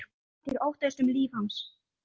Valtýr: Óttaðist um líf hans?